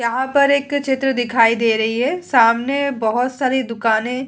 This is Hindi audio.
यहाँ पर एक चित्र दिखाई दे रही है सामने बहुत सारी दुकाने --